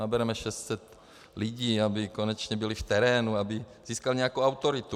Nabereme 600 lidí, aby konečně byli v terénu, aby získali nějakou autoritu.